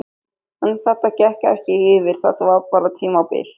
En þetta gekk ekki yfir, þetta var ekki bara tímabil.